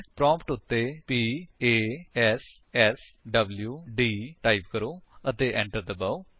prompt ਉੱਤੇ P a s s w d type ਕਰੋ ਅਤੇ enter ਦਬਾਓ